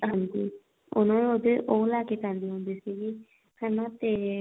ਹਾਂਜੀ ਉਹਨਾ ਨੂੰ ਉਹਦੇ ਉਹ ਲੈ ਕੇ ਪੈਂਦੀ ਹੁੰਦੀ ਸੀਗੀ ਹਨਾ ਤੇ